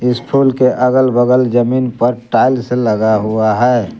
इस फूल के अगल बगल जमीन पर टाइल्स लगा हुआ है।